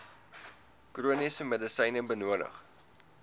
chroniese medisyne benodig